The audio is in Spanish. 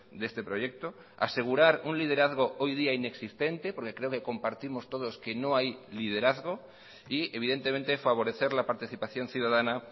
de este proyecto asegurar un liderazgo hoy día inexistente porque creo que compartimos todos que no hay liderazgo y evidentemente favorecer la participación ciudadana